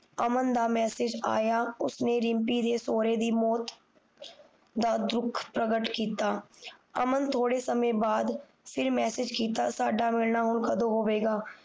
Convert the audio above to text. ਅਮਨ ਦਾ ਮੈਸਜ ਆਇਆ ਉਸਨੇ ਰਿਮਪੀ ਦੇ ਸੋਹਰੇ ਦੀ ਮੌਤ ਦਾ ਦੁੱਖ ਪਰਗਟ ਕੀਤਾ ਅਮਨ ਥੋੜੇ ਸ਼ਮੇ ਬਾਅਦ ਫਿਰ ਮੈਸਜ ਕੀਤਾ ਸਾਡਾ ਮਿਲਣਾ ਹੁਣ ਕਦੋ ਹੋਵੇਗਾ